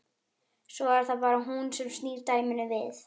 Svo er það bara hún sem snýr dæminu við.